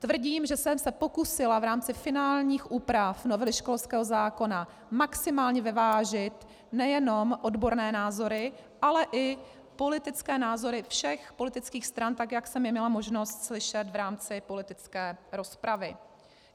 Tvrdím, že jsem se pokusila v rámci finálních úprav novely školského zákona maximálně vyvážit nejenom odborné názory, ale i politické názory všech politických stran, tak jak jsem je měla možnost slyšet v rámci politické rozpravy.